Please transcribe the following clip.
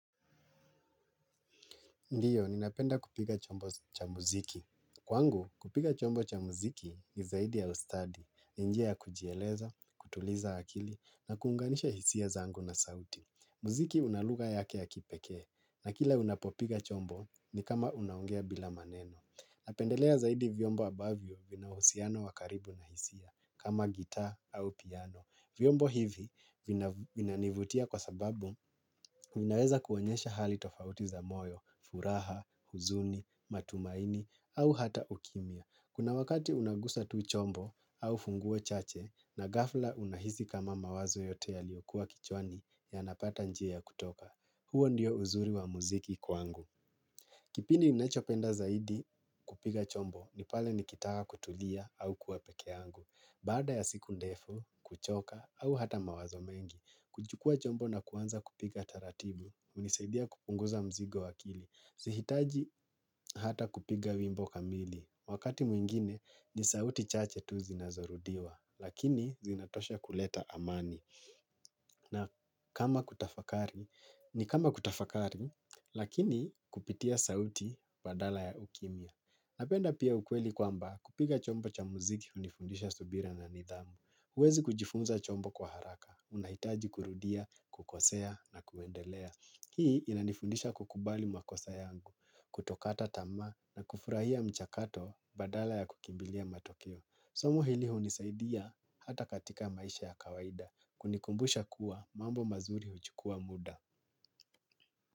Ndiyo, ninapenda kupiga chombo cha muziki. Kwangu, kupiga chombo cha muziki ni zaidi ya ustadi. Njia ya kujieleza, kutuliza akili, na kuunganisha hisia zangu na sauti. Muziki una lugha yake ya kipekee. Na kila unapopiga chombo ni kama unaongea bila maneno. Napendelea zaidi vyombo ambavyo vina uhusiano wa karibu na hisia, kama gitaa au piano. Vyombo hivi vinanivutia kwa sababu vinaweza kuonyesha hali tofauti za moyo, furaha, huzuni, matumaini, au hata ukimya. Kuna wakati unagusa tu chombo au funguo chache na ghafla unahisi kama mawazo yote yaliyokua kichwani yanapata njia ya kutoka. Huo ndio uzuri wa muziki kwangu. Kipindi nachopenda zaidi kupiga chombo ni pale nikitaka kutulia au kuwa peke yangu. Baada ya siku ndefu, kuchoka au hata mawazo mengi, kuchukua chombo na kuanza kupiga taratibu, hunisaidia kupunguza mzigo wa akili. Zihitaji hata kupiga wimbo kamili. Wakati mwingine ni sauti chache tu zinazorudiwa, lakini zinatosha kuleta amani. Na kama kutafakari, ni kama kutafakari, lakini kupitia sauti badala ya ukimya. Napenda pia ukweli kwamba kupiga chombo cha muziki hunifundisha subira na nidhamu. Huwezi kujifunza chombo kwa haraka. Unahitaji kurudia, kukosea na kuendelea. Hii inanifundisha kukubali makosa yangu, kutokata tamaa na kufurahia mchakato badala ya kukimbilia matokeo. Somo hili hunisaidia hata katika maisha ya kawaida kunikumbusha kuwa mambo mazuri huchukua muda.